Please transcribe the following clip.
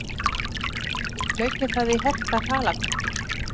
Hlaupi það í hertar halakörtur!